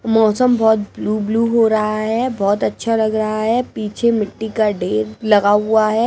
मौसम बहुत ब्लू-ब्लू हो रहा है बहुत अच्छा लग रहा है पीछे मिट्टी का डेर लगा हुआ है।